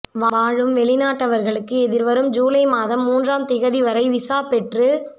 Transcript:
வாழும் வெளிநாட்டவர்களுக்கு எதிர்வரும் ஜூலை மாதம் மூன்றாம் திகதிவரை விசா பெற்றுக்